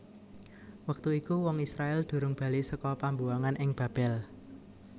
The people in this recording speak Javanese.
Wektu iku wong Israèl durung bali saka pambuwangan ing Babel